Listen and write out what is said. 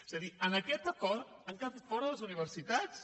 és a dir en aquest acord n’han quedat fora les universitats